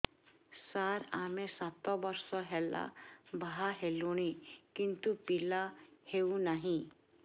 ସାର ଆମେ ସାତ ବର୍ଷ ହେଲା ବାହା ହେଲୁଣି କିନ୍ତୁ ପିଲା ହେଉନାହିଁ